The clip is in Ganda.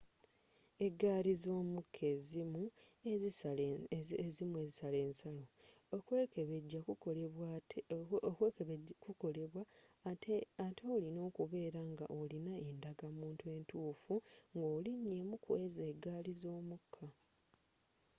eggali z'omukka ezimu ezisala ensalo okwekebejja kukolebwa atte olina okubeera nga olina endagamunttu entuufu nga olinya emu kwezo eggali z'omukka